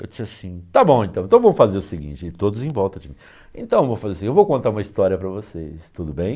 Eu disse assim, tá bom então, então vamos fazer o seguinte, e todos em volta de mim, então vamos fazer o seguinte, eu vou contar uma história para vocês, tudo bem?